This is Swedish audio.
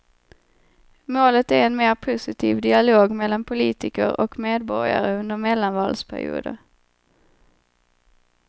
Målet är en mer positiv dialog mellan politiker och medborgare under mellanvalsperioder.